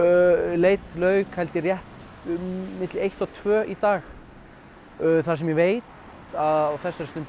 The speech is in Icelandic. leit lauk held ég rétt milli eitt og tvö í dag það sem ég veit á þessari stundu